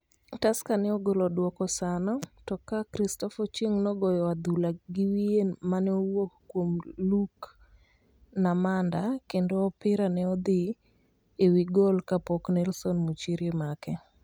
Tusker ne ogolo duoko sano, to ka Christopher Ochieng nogoyo adhula gi wiye mane owuok kuom Luke Namanda kendo opira ne odhi ewigol kapok Nelson Muchiri make